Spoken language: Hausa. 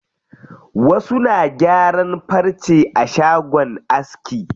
Wasu na gyaran farce a shagon aski.